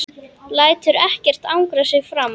Lætur ekkert angra sig framar.